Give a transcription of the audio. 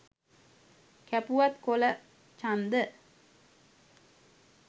කැපුවත් කොළ චන්ද